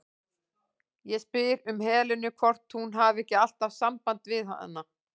Ég spyr um Helenu, hvort hún hafi ekki alltaf samband við hana?